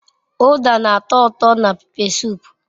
Uda na-ato uto na pepe sup.